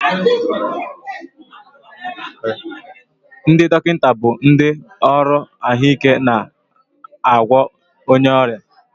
Ndị dọkịta bụ ndị ọrụ ahụike na-agwọ onye ọrịa